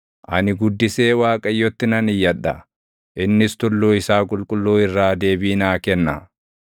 Ani guddisee Waaqayyotti nan iyyadha; innis tulluu isaa qulqulluu irraa deebii naa kenna.